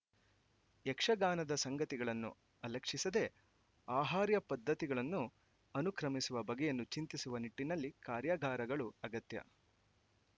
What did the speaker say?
ಯಕ್ಷಗಾನದ ಸಂಗತಿಗಳನ್ನು ಅಲಕ್ಷಿಸದೆ ಆಹಾರ್ಯ ಪದ್ಧತಿಗಳನ್ನು ಅನುಕ್ರಮಿಸುವ ಬಗೆಯನ್ನು ಚಿಂತಿಸುವ ನಿಟ್ಟಿನಲ್ಲಿ ಕಾರ್ಯಾಗಾರಗಳು ಅಗತ್ಯ